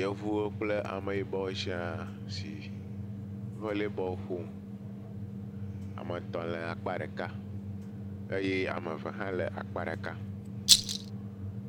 Yevuwo kple ame yibɔwo sia si vɔlley bɔl ƒom. Ame etɔ le akpa ɖeka, eye ame eve hã le akpa ɖeka.